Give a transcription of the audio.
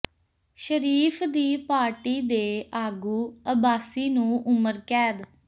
ਸ਼ਰੀਫ਼ ਦੀ ਪਾਰਟੀ ਦੇ ਆਗੂ ਅੱਬਾਸੀ ਨੂੰ ਉਮਰ ਕੈਦ